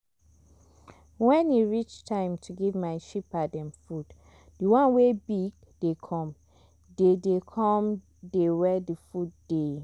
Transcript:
when e reach time to give my sheepa dem food the ones wey big dey come dey dey come dey were thr food dey.